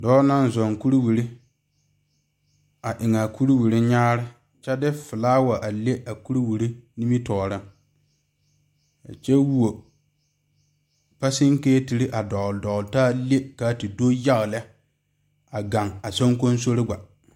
Dɔɔ naŋ zɔŋ kuriwiire a eŋ a kuriwiire kyaane kyɛ de filaawa le a kuriwiire nimitɔɔre kyɛ wuo pakyikesiiri dɔgle dɔgle taa le kaa te do yaga lɛ a gaŋ a soŋkosore gbo.